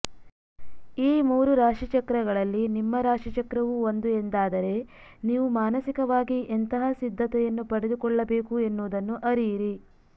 ಈ ಮೂರು ರಾಶಿಚಕ್ರಗಳಲ್ಲಿ ನಿಮ್ಮ ರಾಶಿಚಕ್ರವೂ ಒಂದು ಎಂದಾದರೆ ನೀವು ಮಾನಸಿಕವಾಗಿ ಎಂತಹ ಸಿದ್ಧತೆಯನ್ನು ಪಡೆದುಕೊಳ್ಳಬೇಕು ಎನ್ನುವುದನ್ನು ಅರಿಯಿರಿ